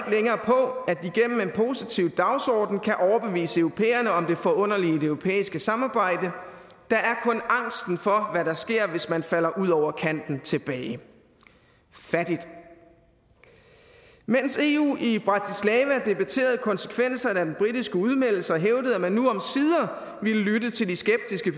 positiv dagsorden kan overbevise europæerne om det forunderlige i det europæiske samarbejde der er kun angsten for hvad der sker hvis man falder ud over kanten tilbage fattigt mens eu i bratislava debatterede konsekvenserne af den britiske udmeldelse og hævdede at man nu omsider ville lytte til de skeptiske